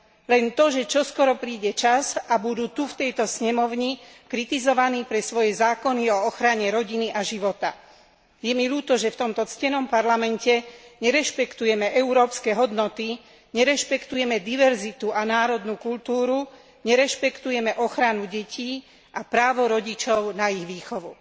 Len to, že čoskoro príde čas a budú tu v tejto snemovni kritizovaní pre svoje zákony o ochrane rodiny a života. Je mi ľúto, že v tomto ctenom Parlamente nerešpektujeme európske hodnoty, nerešpektujeme diverzitu a národnú kultúru, nerešpektujeme ochranu detí a právo rodičov na ich výchovu.